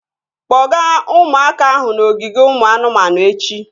Kpọga ụmụaka ahụ n'ogige ụmụ anụmanụ echi!